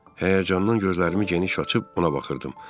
Həyəcandan gözlərimi geniş açıb ona baxırdım.